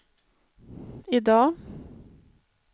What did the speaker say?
idag